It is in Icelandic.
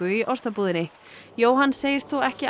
í ostabúðinni Jóhann segist þó ekki